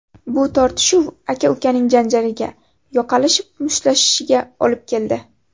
Bu tortishuv aka-ukaning janjaliga, yoqalashib mushtlashishiga olib keldi.